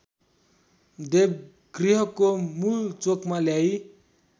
देवगृहको मूलचोकमा ल्याई